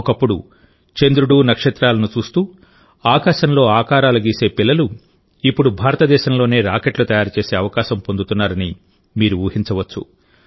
ఒకప్పుడు చంద్రుడు నక్షత్రాలను చూస్తూ ఆకాశంలో ఆకారాలు గీసే పిల్లలు ఇప్పుడు భారతదేశంలోనే రాకెట్లు తయారు చేసే అవకాశం పొందుతున్నారని మీరు ఊహించవచ్చు